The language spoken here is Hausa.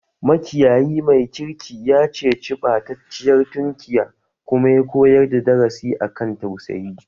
Makiyayi mai kirki ya ceci ɓatacciyar tunkiya kuma ya koyar da darasi a kan tausayi